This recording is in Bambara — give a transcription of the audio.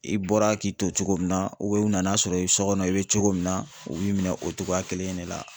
I bɔra k'i to cogo min na u nan'a sɔrɔ i sɔ kɔnɔ i be cogo min na, u b'i minɛ o cogoya kelen in de la.